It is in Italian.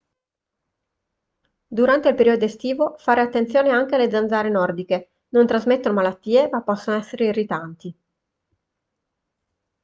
durante il periodo estivo fare attenzione anche alle zanzare nordiche non trasmettono malattie ma possono essere irritanti